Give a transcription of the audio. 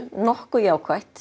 nokkuð jákvætt